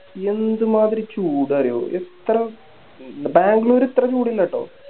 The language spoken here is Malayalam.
എന്ത് മാതിരി ചൂടാ അറിയോ ഇത്രേം ബാംഗ്ലൂർ ഇത്രേ ചൂടില്ലാട്ടോ